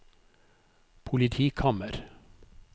politikammer